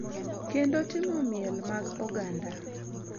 Kendo timo miel mag oganda.